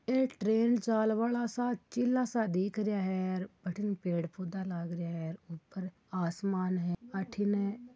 एक ट्रेन चालबा आला सा चिला सा दिख रिया है और अठीने पेड़ पौधा लाग रिया है ऊपर आसमान है अठीने --